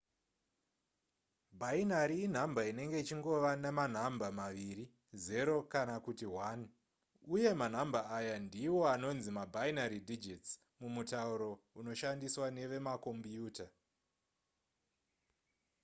bhainari inhamba inenge ichingova nemanhamba maviri 0 kana kuti 1 uye manhamba aya ndiwo anonzi mabinary digits mumutauro unoshandiswa nevemakombiyuta